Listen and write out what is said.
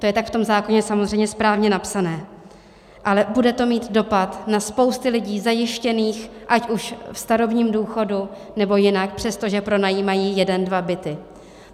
To je tak v tom zákoně samozřejmě správně napsané, ale bude to mít dopad na spousty lidí zajištěných ať už ve starobním důchodu, nebo jinak, přestože pronajímají jeden dva byty.